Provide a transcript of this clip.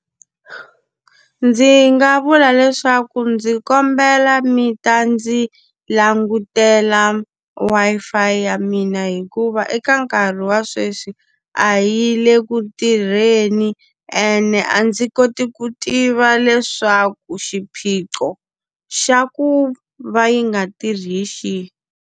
Ndzi nga vula leswaku ndzi kombela mi ta ndzi langutela Wi-Fi ya mina hikuva eka nkarhi wa sweswi, a yi le ku tirheni. Ene a ndzi koti ku tiva leswaku xiphiqo xa ku va yi nga tirhi hi xihi.